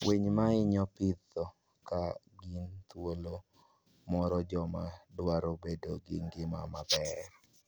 Winy ma ihinyo pidho ka gin thuolo moro joma dwaro bedo gi ngima maber.